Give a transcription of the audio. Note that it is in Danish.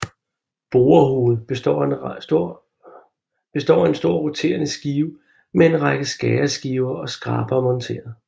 Borehovedet består af en stor roterende skive med en række skæreskiver og skrabere monteret